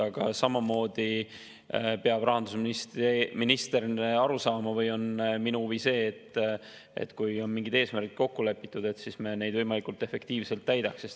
Aga samamoodi peab rahandusminister aru saama või on minu huvi see, et kui on mingid eesmärgid kokku lepitud, siis me neid võimalikult efektiivselt täidaks.